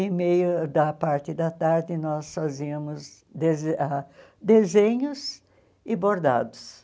Em meio da parte da tarde, nós fazíamos dese ah desenhos e bordados.